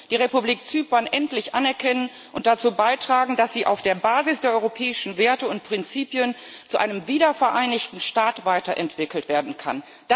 Sie muss die Republik Zypern endlich anerkennen und dazu beitragen, dass sie auf der Basis der europäischen Werte und Prinzipien zu einem wiedervereinigten Staat weiterentwickelt werden kann.